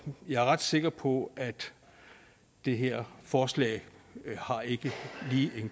jeg er ret sikker på at det her forslag ikke har en